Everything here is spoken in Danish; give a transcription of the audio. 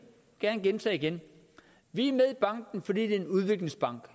gerne gentage vi er med i banken fordi det er en udviklingsbank